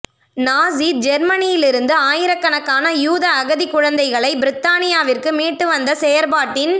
நாஸி ஜேர்மனியிலிருந்து ஆயிரக்கணக்கான யூத அகதி குழந்தைகளை பிரித்தானியாவிற்கு மீட்டுவந்த செயற்பாட்டின்